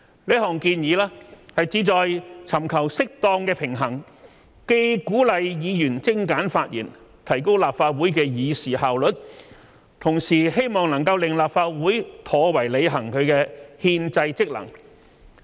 此項建議旨在尋求適當的平衡，既鼓勵議員精簡發言，提高立法會的議事效率，同時希望能令立法會妥為履行其憲制職能。